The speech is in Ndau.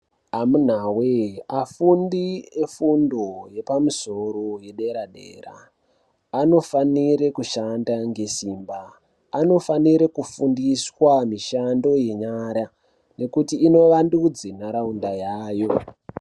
Amunawee afundi efundo yepamusoro yedera anofanire kushanda ngesimba anofanire kufundiswa mishando yenyara nekuti inovandudze ntharaunda yayo.